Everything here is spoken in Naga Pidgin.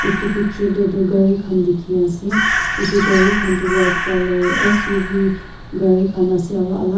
eto picture teh toh kari kan teki ase eto kari kan toh white colour S_U_V kari kan ase aro alak.